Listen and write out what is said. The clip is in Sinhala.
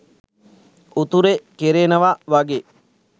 උතුරෙ කෙරෙනව වගෙ